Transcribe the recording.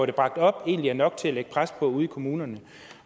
det bragt op egentlig er nok til at lægge pres på ude i kommunerne